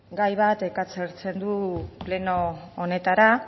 gai bat ekartzen du pleno honetara